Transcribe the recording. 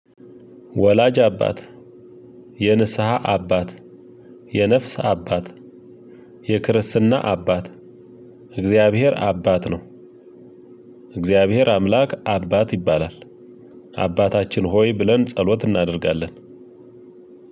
ወላጅ አባት የንስሃ አባት የነፍስ አባት የክርስትና አባት እግዚአብሔር አባት ነው። እግዚአብሔር አምላክ አባት ይባላል። አባታችን ሆይ ብለን ጸሎት እናደርጋለን።